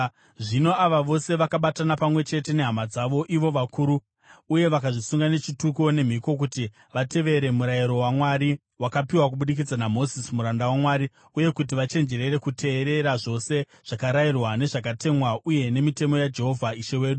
Zvino ava vose vakabatana pamwe chete nehama dzavo ivo vakuru, uye vakazvisunga nechituko nemhiko kuti vatevere Murayiro waMwari wakapiwa kubudikidza naMozisi muranda waMwari uye kuti vachenjerere kuteerera zvose zvakarayirwa, nezvakatemwa uye nemitemo yaJehovha Ishe wedu.